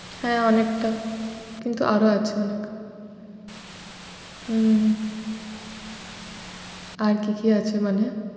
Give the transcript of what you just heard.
হ্যাঁ অনেকটা, কিন্তু আরো আছে অনেক। হম আর কি কি আছে মানে?